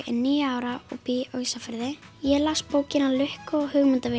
níu ára og bý á Ísafirði ég las bókina lukka og